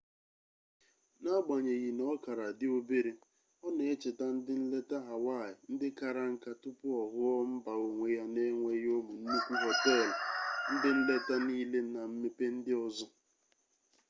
n'agbanyeghị na ọ kara dị obere ọ na-echeta ndị nleta hawaii ndị kara nka tupu ọ ghụọ mba onwe ya na-enweghị ụmụ nnukwu họteelụ ndị nleta niile na mmepe ndị ọzọ